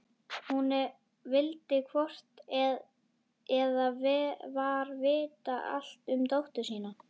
Hún vildi hvort eð var vita allt um dóttur sína.